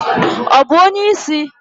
Ọ bụ onye isi?